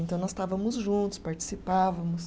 Então, nós estávamos juntos, participávamos.